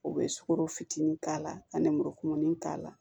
U bɛ sukoro fitinin k'a la ka nurumunin k'a la